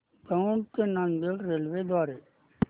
दौंड ते नांदेड रेल्वे द्वारे